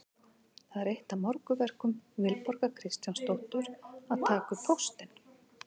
Það er eitt af morgunverkum Vilborgar Kristjánsdóttur að taka upp póstinn.